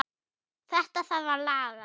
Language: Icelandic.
Þetta þarf að laga.